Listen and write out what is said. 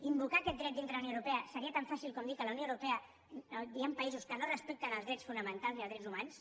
invocar aquest dret dintre de la unió europea seria tan fàcil com dir que a la unió europea hi han països que no respecten els drets fonamentals i els drets humans